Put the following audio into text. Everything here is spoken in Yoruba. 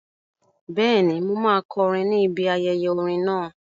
Bẹ́ẹ̀ni, mo máa kọrin ni ibi ayẹyẹ orin náà